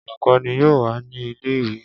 Olukọni yoo wa ni ile-iwe.